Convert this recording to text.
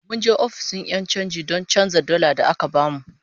Mun je ofishin 'yan chanji don canza dalar da aka bamu